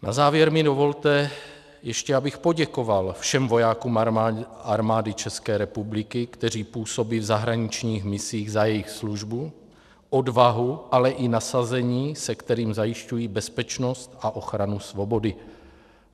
Na závěr mi dovolte ještě, abych poděkoval všem vojákům Armády České republiky, kteří působí v zahraničních misích, za jejich službu, odvahu, ale i nasazení, se kterým zajišťují bezpečnost a ochranu svobody.